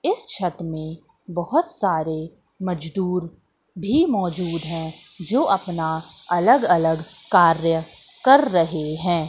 इस छत में बहुत सारे मजदूर भी मौजूद हैं जो अपना अलग अलग कार्य कर रहे हैं।